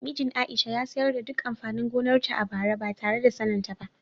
Mijin Aisha ya sayar da duk amfanin gonarta a bara ba tare da saninta ba.